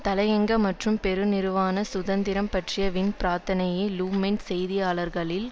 தலையங்க மற்றும் பெருநிறுவனச் சுதந்திரம் பற்றிய வின் பிரார்த்தனையே லு மொன்ட் செய்தியாளர்களில்